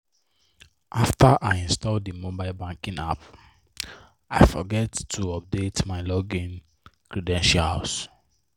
after i install the mobile banking app i forget to update my login credentials.